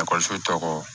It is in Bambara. Ekɔliso tɔgɔ